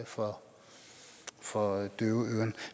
for for døve øren